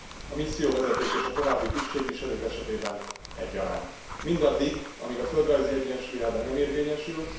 A misszióvezetők és a további tisztségviselők esetében egyaránt mindaddig, amíg a földrajzi egyensúly elve nem érvényesül.